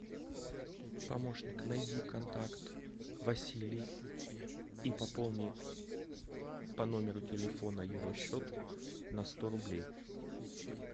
помощник найди контакт василий и пополни по номеру телефона его счет на сто рублей